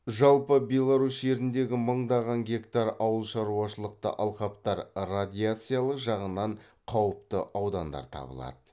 жалпы беларусь жеріндегі мыңдаған гектар ауыл шаруашылықты алқаптар радиациялық жағынан қауіпті аудандар табылады